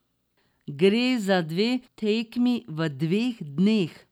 Gre za dve tekmi v dveh dneh.